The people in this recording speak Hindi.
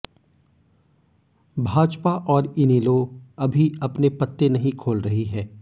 भाजपा और इनेलो अभी अपने पत्ते नहीं खोल रही है